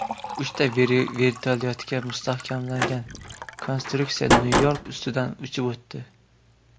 Uchta vertolyotga mustahkamlangan konstruksiya Nyu-York ustidan uchib o‘tdi.